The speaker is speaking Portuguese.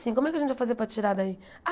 Como é que a gente vai fazer para tirar daí?